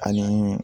Ani